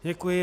Děkuji.